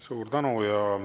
Suur tänu!